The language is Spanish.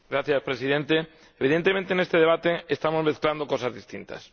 Señor Presidente, evidentemente, en este debate estamos mezclando cosas distintas.